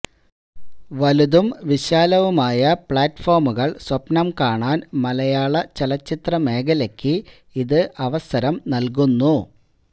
വലുതും വിശാലവുമായ പ്ലാറ്റ്ഫോമുകള് സ്വപ്നം കാണാന് മലയാള ചലച്ചിത്ര മേഖലയ്ക്ക് ഇത് അവസരം നല്കുന്നു